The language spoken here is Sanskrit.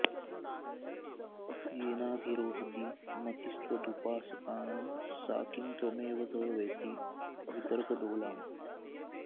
येनाधिरोहति मतिस्त्वदुपासकानां सा किं त्वमेव तव वेति वितर्कडोलाम्